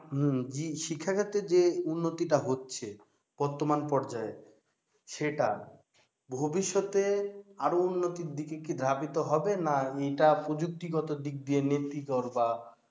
হম জি শিক্ষাক্ষেত্রে যে উন্নতি টা হচ্ছে বর্তমান পর্যায়ে সেটা ভবিষ্যতে আর উন্নতির দিকে ধাবিত হবে না এটা প্রযুক্তি দিক দিয়ে নেতিকর বা